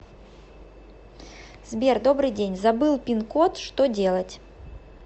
сбер добрый день забыл пин код что делать